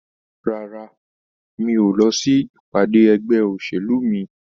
Rárá, mi ò lọ sí ìpàdé ẹgbẹ́ òṣèlú mi